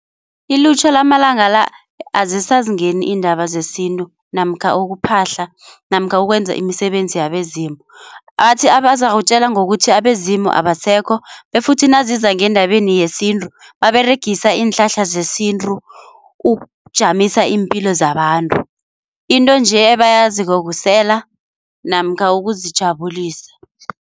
Ilutjha lamalanga la azisazingeni indaba zesintu namkha ukuphahla namkha ukwenza imisebenzi yabezimu. Athi abazakutjela ngokuthi abezimu abasekho befuthi naziza ngendabeni yesintu baberegisa iinhlahla zesintu ukujamisa iimpilo zabantu. Into nje ebayaziko kusela namkha ukuzijabulisa.